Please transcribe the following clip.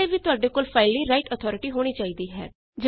ਇਸ ਲਈ ਵੀ ਤੁਹਾਡੇ ਕੋਲ ਫਾਈਲ ਲਈ ਰਾਇਟ ਅਥਾਰਟੀ ਹੋਣੀ ਚਾਹੀਦੀ ਹੈ